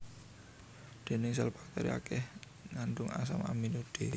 Dhindhing sèl bakteri akèh ngandung asam amino d